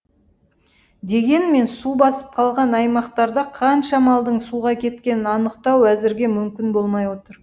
дегенмен су басып қалған аймақтарда қанша малдың суға кеткенін анықтау әзірге мүмкін болмай отыр